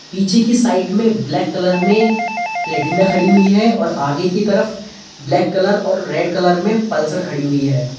पीछे की साइड में ब्लैक कलर में प्लेटिना खड़ी हुई है और आगे की तरफ ब्लैक कलर और रेड कलर में पल्सर खड़ी हुई है।